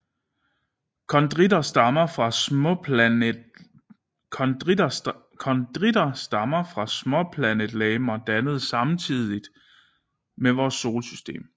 Kondritter stammer fra småplanetlegemer dannet samtidig med vores solsystem